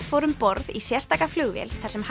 fór um borð í sérstaka flugvél þar sem